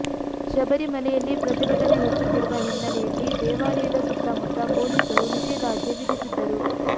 ಶಬರಿಮಲೆಯಲ್ಲಿ ಪ್ರತಿಭಟನೆ ಹೆಚ್ಚುತ್ತಿರುವ ಹಿನ್ನಲೆಯಲ್ಲಿ ದೇವಾಲಯದ ಸುತ್ತಮುತ್ತ ಪೊಲೀಸರು ನಿಷೇಧಾಜ್ಞೆ ವಿಧಿಸಿದ್ದರು